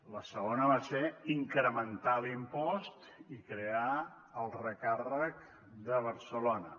la segona va ser incrementar l’impost i crear el recàrrec de barcelona